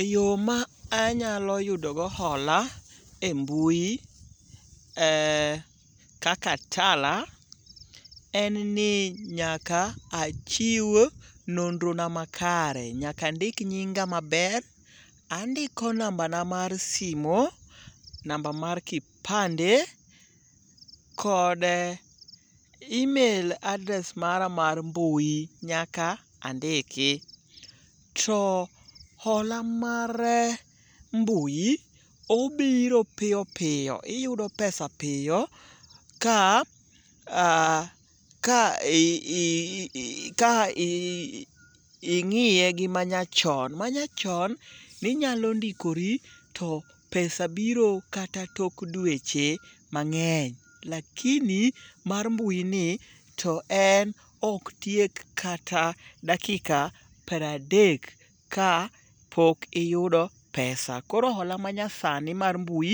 Eyo ma anyalo yudogo hola e mbui kaka Tala en ni nyaka achiw nonrona makare nyaka andik nyinga maber, andiko nambana mar simo, namba mar kipande, kod email address mara mar mbui nyaka andiki. To hola mar mbui obiro piyo piyo iyudo pesa piyo ka ing'iye gi manyachon. Manyachon ninyalo ndikori to pesa biro kata tok dweche mang'eny. Lakini mar mbuini to en ok tiek kata dakika pradek ka pok iyudo pesa, koro hola manyasni mar mbui